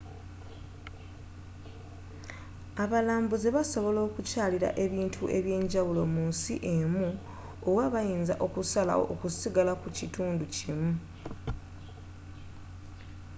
abalambuzi basobola okukyalira ebintu eby'enjawulo mu nsi emu oba bayinza okusalawo okusigala ku kitundu kimu